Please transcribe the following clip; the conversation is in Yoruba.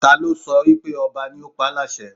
Ta ló sọ wípé ọba ni ó pa á láṣẹ